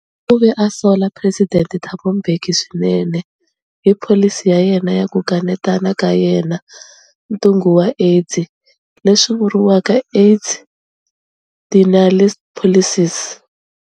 U ve a sola Presidente Thabo Mbeki swinene hi pholisi ya yena ya ku kanetana ka yena ntungu wa AIDS leswi vuriwaka AIDS-denialist policies.